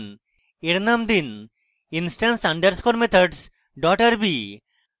এর name দিন instance _ methods rb